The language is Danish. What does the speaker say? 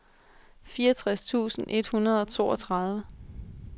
fireogtres tusind et hundrede og toogtredive